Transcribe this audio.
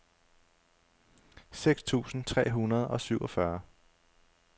seks tusind tre hundrede og syvogfyrre